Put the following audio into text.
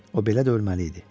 O belə də ölməli idi.